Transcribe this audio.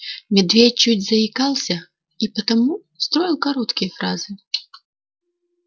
медведь чуть заикался и потому строил короткие фразы